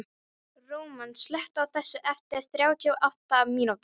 Róman, slökktu á þessu eftir þrjátíu og átta mínútur.